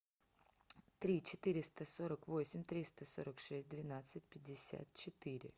три четыреста сорок восемь триста сорок шесть двенадцать пятьдесят четыре